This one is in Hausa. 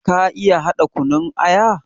Ka iya haɗa kunun aya?